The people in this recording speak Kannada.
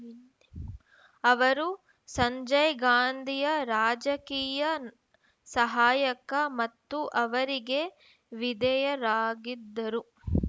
ಅವರು ಸಂಜಯ್‌ಗಾಂಧಿಯ ರಾಜಕೀಯ ಸಹಾಯಕ ಮತ್ತು ಅವರಿಗೆ ವಿದೇಯರಾಗಿದ್ದರು